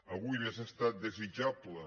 avui hauria estat desitjable